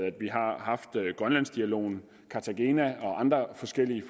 at vi har haft grønlandsdialogen cartagena og andre forskellige